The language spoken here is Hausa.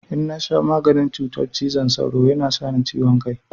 In na sha maganin cutar cizon sauro ya na sa ni ciwon kai.